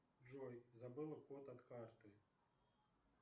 джой забыла код от карты